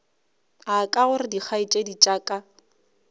aka gore dikgaetšedi tša ka